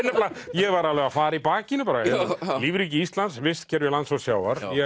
ég var alveg að fara í bakinu bara lífríki Íslands vistkerfi lands og sjávar ég